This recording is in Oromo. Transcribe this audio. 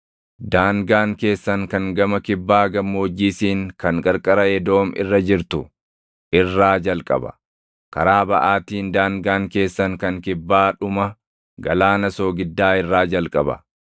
“ ‘Daangaan keessan kan gama kibbaa Gammoojjii Siin kan qarqara Edoom irra jirtu irraa jalqaba; karaa baʼaatiin daangaan keessan kan kibbaa dhuma Galaana Soogiddaa irraa jalqaba;